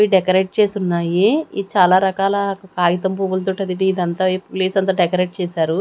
ఇవి డెకరేట్ చేసి ఉన్నాయి ఈ చాలా రకాల కాగితం పువ్వుల తోటి ఇదంతా ఈ ప్లేస్ అంతా డెకరేట్ చేశారు.